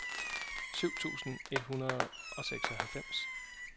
syv tusind et hundrede og seksoghalvfems